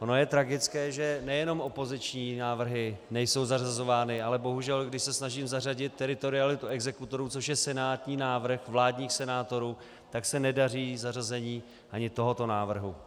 Ono je tragické, že nejenom opoziční návrhy nejsou zařazovány, ale bohužel když se snažím zařadit teritorialitu exekutorů, což je senátní návrh, vládních senátorů, tak se nedaří zařazení ani tohoto návrhu.